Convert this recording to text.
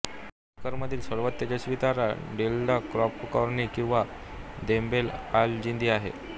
मकर मधील सर्वात तेजस्वी तारा डेल्टा कॅप्रिकॉर्नी किंवा देनेब अलजीदी आहे